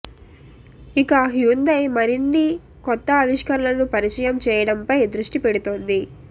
ఇక హ్యుందాయ్ మరిన్ని కొత్త ఆవిష్కరణలను పరిచయం చేయడంపై దృష్టి పెడుతోంది